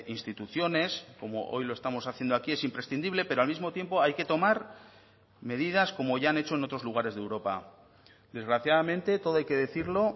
instituciones como hoy lo estamos haciendo aquí es imprescindible pero al mismo tiempo hay que tomar medidas como ya han hecho en otros lugares de europa desgraciadamente todo hay que decirlo